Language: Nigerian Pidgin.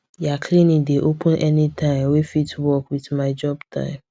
their clinic dey open anytime wey fit work with my job time